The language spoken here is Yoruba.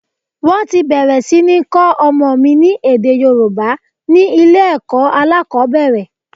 Wọ́n ti bẹ̀rẹ̀ sí ní kọ́ ọmọ mi ní èdè Yorùbá ni ilé ẹ̀kọ́ alákòbẹ̀rẹ̀.